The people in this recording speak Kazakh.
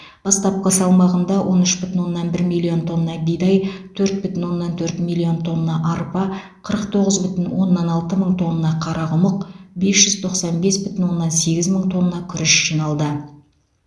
бастапқы салмағында он үш бүтін оннан бір миллион тонна бидай төрт бүтін оннан төрт миллион тонна арпа қырық тоғыз бүтін оннан алты мың тонна қарақұмық бес жүз тоқсан бес бүтін оннан сегіз мың тонна күріш жиналды